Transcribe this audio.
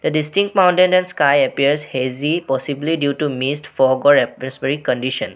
The distinct mountains and sky appears hazy possibly due to mist fog or atmospheric condition.